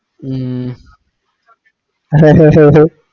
ഉം